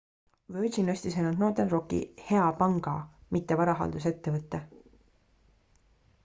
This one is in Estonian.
"virgin ostis ainult northern rocki "hea panga" mitte varahaldusettevõtte.